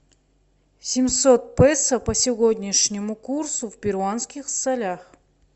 семьсот песо по сегодняшнему курсу в перуанских солях